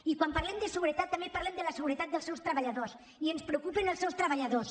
i quan parlem de seguretat també parlem de la seguretat dels seus treballadors i ens preocupen els seus treballadors